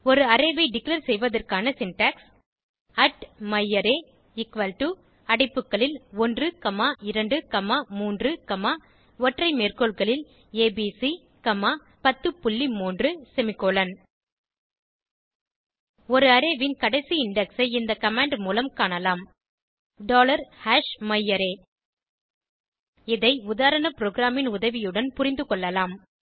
ஒரு அரே ஐ டிக்ளேர் செய்வதற்கான சின்டாக்ஸ் myArray எக்குவல் டோ அடைப்புகளில் 1 காமா 2 காமா 3 காமா ஒற்றை மேற்கோள்களில் ஏபிசி காமா 103 செமிகோலன் ஒரு அரே ன் கடைசி இண்டெக்ஸ் ஐ இந்த கமாண்ட் மூலம் காணலாம் myArray இதை உதாரண ப்ரோகிராமின் உதவியுடன் புரிந்துகொள்ளலாம்